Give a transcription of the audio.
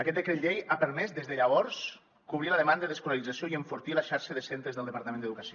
aquest decret llei ha permès des de llavors cobrir la demanda d’escolarització i enfortir la xarxa de centres del departament d’educació